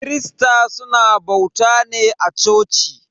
Kirista suna bauta ne a coci.